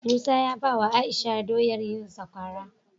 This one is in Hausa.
Musa ya bawa aisha doyar yin sakwara